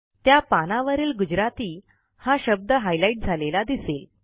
त्या पानावरील Gujaratiहा शब्द हायलाइट झालेला दिसेल